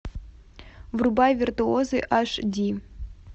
врубай виртуозы аш ди